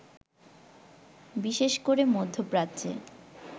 বিশেষ করে মধ্যপ্রাচ্যে